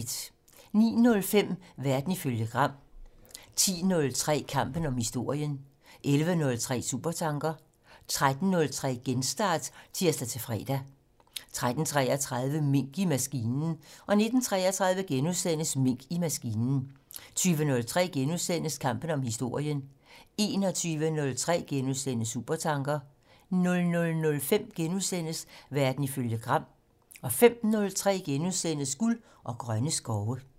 09:05: Verden ifølge Gram 10:03: Kampen om historien 11:03: Supertanker 13:03: Genstart (tir-fre) 13:33: Mink i maskinen 19:33: Mink i maskinen * 20:03: Kampen om historien * 21:03: Supertanker * 00:05: Verden ifølge Gram * 05:03: Guld og grønne skove *